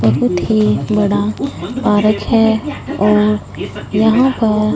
बहुत ही बड़ा पारक है और यहां पर--